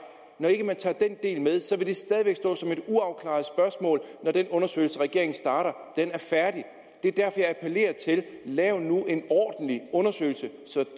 når ikke man tager den del med så vil det stadig væk stå som et uafklaret spørgsmål når den undersøgelse regeringen starter er færdig det er derfor jeg appellerer til lav nu en ordentlig undersøgelse så